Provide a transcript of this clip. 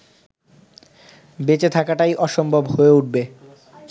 বেঁচে থাকাটাই অসম্ভব হয়ে উঠবে